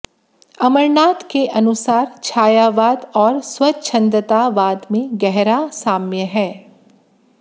अमरनाथ के अनुसार छायावाद और स्वच्छंदतावाद में गहरा साम्य है